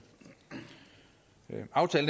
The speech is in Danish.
være